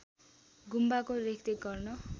गुम्बाको रेखदेख गर्न